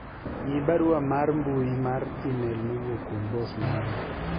ng'i barua mar mbui mar email mowuok kuom bos mara